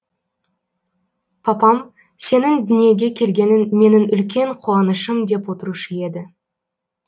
папам сенің дүниеге келгенің менің үлкен қуанышым деп отырушы еді